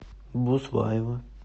буслаева